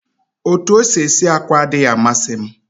Otú o si esi àkwá adịghị amasị m